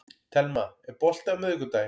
Telma, er bolti á miðvikudaginn?